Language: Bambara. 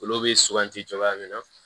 Olu bɛ suganti cogoya min na